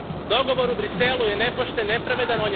Dogovor u Bruxellesu je nepošten, nepravedan.